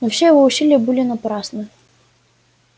но все его усилия были напрасны